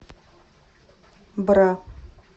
бра